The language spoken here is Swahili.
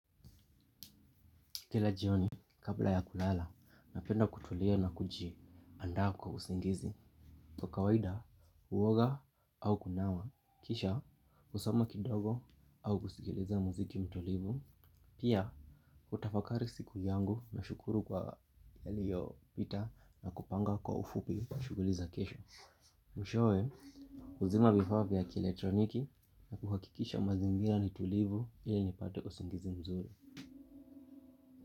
Kila jioni, kabla ya kulala, napenda kutulia na kujiandaa kwa usingizi. Kwa kawaida, huoga au kunawa. Kisha, husoma kidogo au kusikiliza muziki mtulivu. Pia, hutafakari siku yangu nashukuru kwa yaliyopita na kupanga kwa ufupi kwa shughuli za kesho. Mwishowe, huzima vifaa vya kieletroniki na kuhakikisha mazingira ni tulivu ili nipate usingizi mzuri.